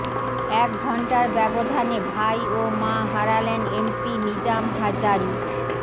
এক ঘণ্টার ব্যবধানে ভাই ও মা হারালেন এমপি নিজাম হাজারী